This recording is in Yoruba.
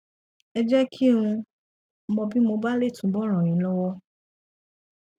ẹ jẹ kí n mọ bí mo bá lè túbọ ràn yín lọwọ